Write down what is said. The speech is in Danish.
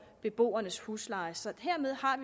beboernes husleje så hermed har